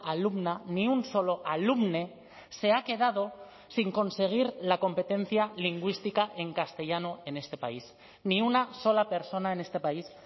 alumna ni un solo alumne se ha quedado sin conseguir la competencia lingüística en castellano en este país ni una sola persona en este país